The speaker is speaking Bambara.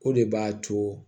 O de b'a to